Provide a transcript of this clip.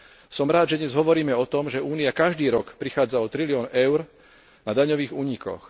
Som rád, že dnes hovoríme o tom, že Únia každý rok prichádza o trilión eur na daňových únikoch.